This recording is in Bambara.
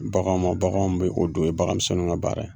Baganw ma baganw bɛ o don o ye baganmisɛnninw ka baara ye.